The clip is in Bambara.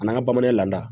N'an ka bamanan lada